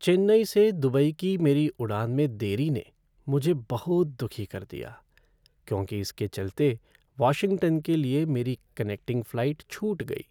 चेन्नई से दुबई की मेरी उड़ान में देरी ने मुझे बहुत दुखी कर दिया क्योंकि इसके चलते वाशिंगटन के लिए मेरी कनेक्टिंग फ़्लाइट छूट गई।